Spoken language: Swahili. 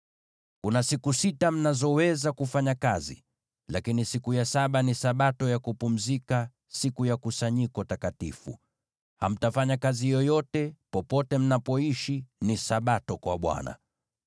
“ ‘Kuna siku sita mnazoweza kufanya kazi, lakini siku ya saba ni Sabato ya kupumzika, siku ya kusanyiko takatifu. Hamtafanya kazi yoyote. Popote mnapoishi, ni Sabato kwa Bwana .